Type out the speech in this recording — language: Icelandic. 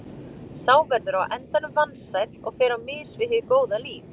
Sá verður á endanum vansæll og fer á mis við hið góða líf.